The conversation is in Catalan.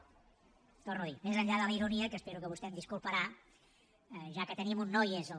ho torno a dir més enllà de la ironia que espero que vostè em disculparà ja que tenim un no i és el